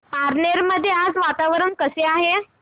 पारनेर मध्ये आज वातावरण कसे आहे